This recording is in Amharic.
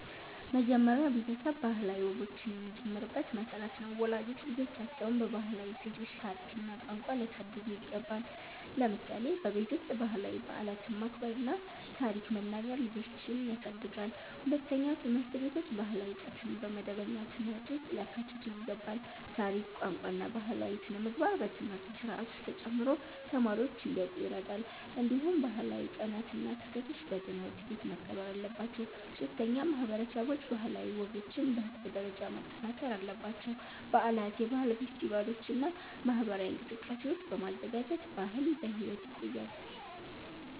መጀመሪያ ቤተሰብ ባህላዊ ወጎችን የሚጀምርበት መሠረት ነው። ወላጆች ልጆቻቸውን በባህላዊ እሴቶች፣ ታሪክ እና ቋንቋ ሊያሳድጉ ይገባል። ለምሳሌ በቤት ውስጥ ባህላዊ በዓላትን ማክበር እና ታሪክ መናገር ልጆችን ያሳድጋል። ሁለተኛ፣ ትምህርት ቤቶች ባህላዊ ዕውቀትን በመደበኛ ትምህርት ውስጥ ሊያካትቱ ይገባል። ታሪክ፣ ቋንቋ እና ባህላዊ ሥነ-ምግባር በትምህርት ስርዓት ውስጥ ተጨምሮ ተማሪዎች እንዲያውቁ ይረዳል። እንዲሁም ባህላዊ ቀናት እና ክስተቶች በትምህርት ቤት መከበር አለባቸው። ሶስተኛ፣ ማህበረሰቦች ባህላዊ ወጎችን በህዝብ ደረጃ ማጠናከር አለባቸው። በዓላት፣ የባህል ፌስቲቫሎች እና ማህበራዊ እንቅስቃሴዎች በማዘጋጀት ባህል በሕይወት ይቆያል።